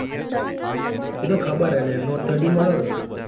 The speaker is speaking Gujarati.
એ તો ખબર હે લ્યા notethirty વાળો કે.